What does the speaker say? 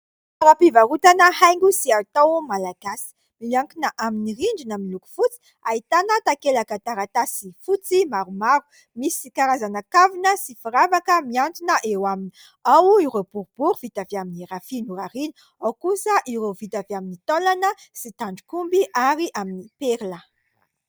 Toeram-pivarotana haingo sy hay tao Malagasy, miankina amin'ny rindrina miy loko fotsy, ahitana takelaka taratasy fotsy maromaro ; misy ka razana kavina sy firavaka miantona eo aminy. Ao ireo boribory vita avy amin'ny rofia norarina, ao kosa ireo vita avy amin'ny taolana sy tandrok'omby ary amin'ny perla.